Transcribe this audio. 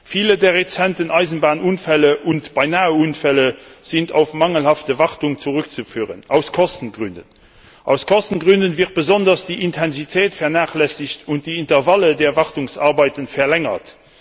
Viele der jüngsten Eisenbahnunfälle und Beinaheunfälle sind auf mangelhafte Wartung zurückzuführen. Aus Kostengründen wird besonders die Intensität vernachlässigt, und die Intervalle der Wartungsarbeiten werden verlängert.